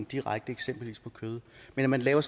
direkte eksempelvis på kød men at man laver